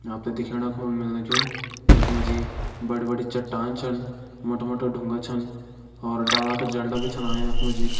आप त दिखेण का मिलनु कू यख मा जी बड़ी बड़ी चट्टान छन मोटा मोटा डुंगा छन और डाला का जेल्डा भी छन आयां यख मा जी।